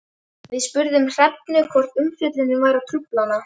Við spurðum Hrefnu hvort umfjöllunin væri að trufla hana?